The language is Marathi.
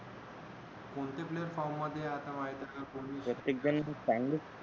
बहुतेक player फॉम मध्ये आहे आता